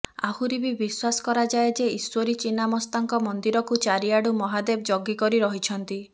ଆହୁରି ବି ବିଶ୍ୱାରସ କରାଯାଏ ଯେ ଇଶ୍ୱରୀ ଚିନାମସ୍ତାଙ୍କ ମନ୍ଦିରକୁ ଚାରିଆଡୁ ମହାଦେବ ଜଗି କରି ରହିଛନ୍ତି